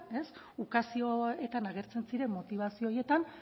ukazioetan agertzen ziren motibazio horietan